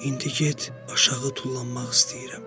İndi get, aşağı tullanmaq istəyirəm.